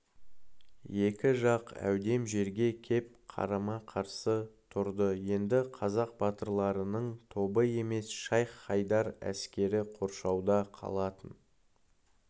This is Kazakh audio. екі жақ әудем жерге кеп қарама-қарсы тұрды енді қазақ батырларының тобы емес шайх-хайдар әскері қоршауда қалатын